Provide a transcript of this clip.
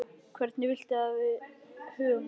Hvernig viltu þá að við högum háttunum?